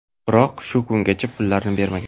Biroq, shu kungacha pullarini bermagan.